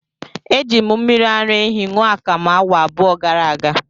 Eji m mmiri ara ehi ṅụọ akamu awa abụọ gara aga.